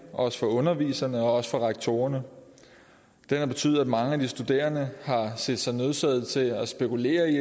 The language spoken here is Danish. og også for underviserne og for rektorerne den har betydet at mange af de studerende har set sig nødsaget til at spekulere i